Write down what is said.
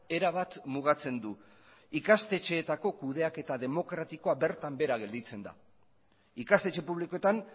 erabat mugatzen du ikastetxeetako kudeaketa demokratikoa bertan behera gelditzen da ikastetxe publikoetan